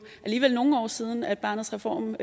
alligevel nogle år siden at barnets reform